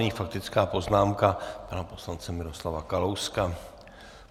Nyní faktická poznámka pana poslance Miroslava Kalouska.